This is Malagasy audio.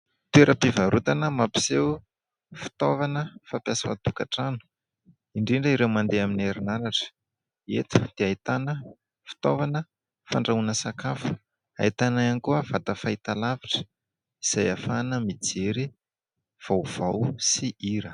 Toeram-pivarotana mampiseho fitaovana fampiasa ao an-tokantrano, indrindra ireo mandeha amin'ny herinaratra. Eto dia ahitana fitaovana fandrahoana sakafo ; ahitana ihany koa vata fahitalavitra izay hahafahana mijery vaovao sy hira.